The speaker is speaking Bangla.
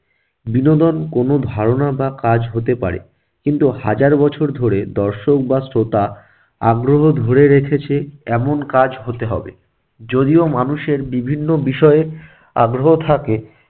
বিনোদন কোনো ধারণা বা কাজ হতে পারে কিন্তু হাজার বছর ধরে দর্শক বা শ্রোতা আগ্রহ ধরে রেখেছে এমন কাজ হতে হবে। যদিও মানুষের বিভিন্ন বিষয়ে আগ্রহ থাকে,